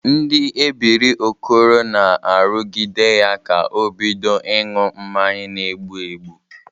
Ndị ebiri Okoro na-arụgide ya ka o bidịo ịṅụ mmanya na-egbu egbu.